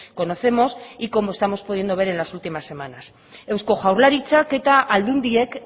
conocemos y como estamos pudiendo ver en las últimas semanas eusko jaurlaritzak eta aldundiek